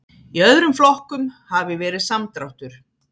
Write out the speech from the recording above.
Í öðrum flokkum hafi verið samdráttur